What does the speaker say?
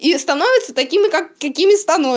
и становятся такими какими становятся